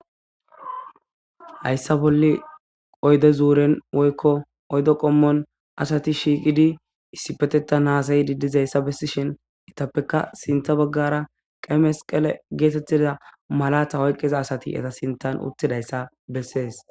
Hayssa bolla oyde zuuren woyko oyde qommon asati shiiqidi issipetethan dizaysa besishin,Eetapeka sintha baggara qeyi mesqele giza xuufera diza mayo mayida asati beetosona.